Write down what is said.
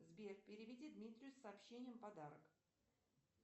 сбер переведи дмитрию с сообщением подарок